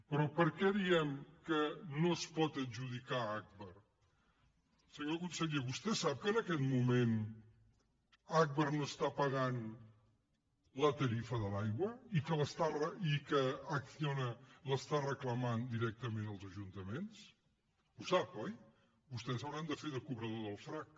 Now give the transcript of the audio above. però per què diem que no es pot adjudicar a agbar senyor conseller vostè sap que en aquest moment agbar no està pagant la tarifa de l’aigua i que acciona l’està reclamant directament als ajuntaments ho sap oi vostès hauran de fer de cobrador del frac